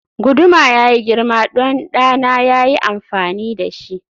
guduma yayi girma don ɗana ya yi amfani da shi